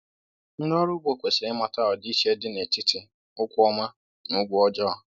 Ndị ọrụ ugbo kwesịrị ịmata ọdịiche dị n’etiti ụgwọ ọma na ụgwọ ọjọọ.